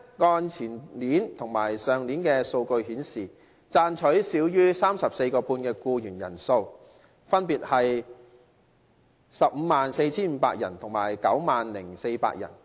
按前年及去年的數據顯示，賺取少於每小時 34.5 元的僱員人數分別為 154,500 人和 90,400 人。